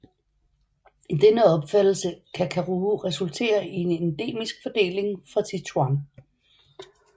I denne opfattelse kan Karuo resultere i endemisk fordeling fra Sichuan